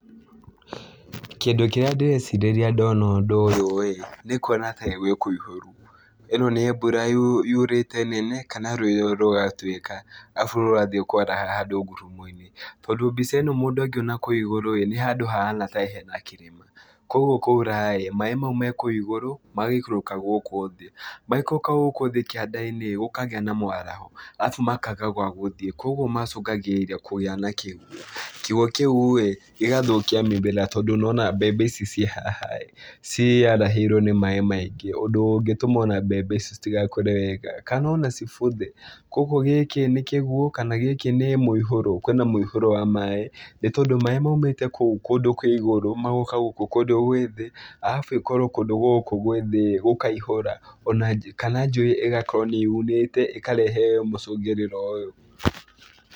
Kĩndũ kĩrĩa ndĩrecirĩria ndona ũndũ ũyũ-ĩ, nĩ kuona taĩ gwĩkũihũru. Ĩno nĩ mbura yurĩte nene kana rũĩ rũgatuĩka, arabu rũrathiĩ kwaraha handũ ngurumo-inĩ, tondũ mbica ĩno mũndũ angĩona kũu igũrũ-ĩ, nĩ handũ hahana taĩ hena kĩrĩma, kuoguo kwaura-ĩ, maĩ mau me kũu igũrũ magaikũrũka gũkũ thĩ. Maikũrũka gũkũ thĩ kĩanda-inĩ ĩ gũkagĩa na mwaraho, arabu makaga gwa gũthiĩ kuoguo macũngagĩrĩria kũgĩa na kĩguo, kĩguo kĩu-ĩ gĩgathũkia mĩmera tondũ nĩwona mbembe ici ciĩ haha-ĩ ciarahĩirwo nĩ maĩ maingĩ, ũndũ ũngĩtũma ona mbembe icio citigakũre wega kana ona cibuthe, kuoguo gĩkĩ nĩ kĩguo kana gĩkĩ nĩ mũihũro, kwĩna mũihũro wa maĩ nĩtondũ maĩ maumĩte kũu kũndũ kwĩ igũrũ magoka gũkũ kũndũ gwĩ thĩ arabu ĩkorwo kũndũ gũkũ gwĩ thĩ-ĩ gũkaihũra ona kana njũĩ ĩgakorwo nĩyunĩte ĩkarehe mũcũngĩrĩra ũyũ.